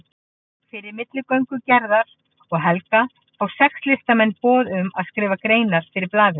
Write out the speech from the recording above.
Fyrir milligöngu Gerðar og Helga fá sex listamenn boð um að skrifa greinar fyrir blaðið.